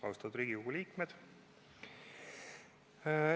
Austatud Riigikogu liikmed!